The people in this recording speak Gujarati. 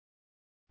અને જુઓ